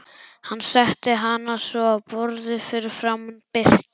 Hann setti hana svo á borðið fyrir framan Birki.